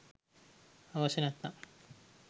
අවශ්‍ය නැත්නම්